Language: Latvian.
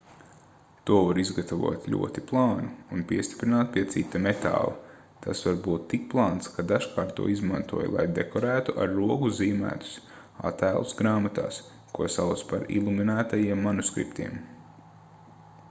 to var izgatavot ļoti plānu un piestiprināt pie cita metāla tas var būt tik plāns ka dažkārt to izmantoja lai dekorētu ar roku zīmētus attēlus grāmatās ko sauca par iluminētajiem manuskriptiem